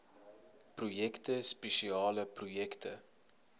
projekte spesiale projekte